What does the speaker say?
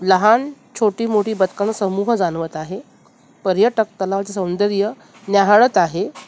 लहान छोटी मोठी बदकंन समूह जाणवत आहे पर्यटक तलावाचं सौंदर्य निहाळत आहे.